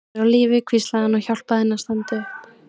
Hún er á lífi, hvíslaði hann og hjálpaði henni að standa upp.